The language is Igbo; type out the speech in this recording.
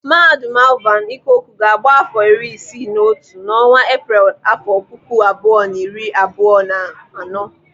Mahadum Alvan Ikoku ga-agba afọ iri isii na otu n'ọnwa Epreel afọ puku abụọ na iri abụọ na anọ.